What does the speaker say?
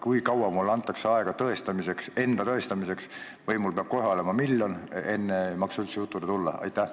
Kui kaua mulle antakse aega enda tõestamiseks või mul peab kohe olema miljon, enne ei maksa üldse jutule tulla?